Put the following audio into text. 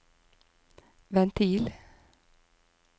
ventil